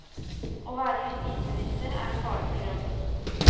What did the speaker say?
Å være justisminister er en farefull jobb.